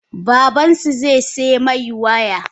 Babansu zaisaimai waya?